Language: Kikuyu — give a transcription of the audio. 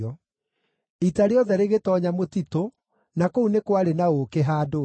Ita rĩothe rĩgĩtoonya mũtitũ, na kũu nĩ kwarĩ na ũũkĩ handũ thĩ.